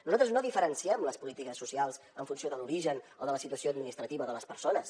nosaltres no diferenciem les polítiques socials en funció de l’origen o de la situació administrativa de les persones